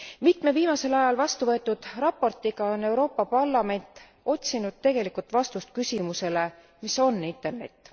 Mitme viimasel ajal vastuvõetud raportiga on Euroopa Parlament otsinud tegelikult vastust küsimusele mis on Internet?